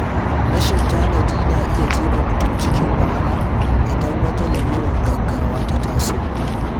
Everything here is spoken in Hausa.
Rashin tanadi na iya jefa mutum cikin wahala idan wata lalurar gaugawa ta taso.